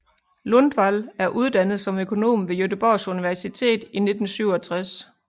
Lundvall er uddannet som økonom ved Göteborgs Universitet i 1967